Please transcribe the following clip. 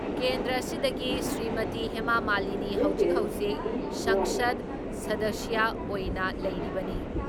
ꯀꯦꯟꯗ꯭꯭ꯔ ꯑꯁꯤꯗꯒꯤ ꯁ꯭ꯔꯤꯃꯇꯤ ꯍꯦꯃꯥ ꯃꯥꯂꯤꯅꯤ ꯍꯧꯖꯤꯛ ꯍꯧꯖꯤꯛ ꯁꯪꯁꯗ ꯁꯗꯁ꯭ꯌ ꯑꯣꯏꯅ ꯂꯩꯔꯤꯕꯅꯤ ꯫